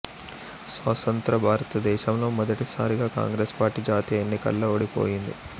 స్వతంత్ర భారతదేశంలో మొదటిసారిగా కాంగ్రెసు పార్టీ జాతీయ ఎన్నికల్లో ఓడిపోయింది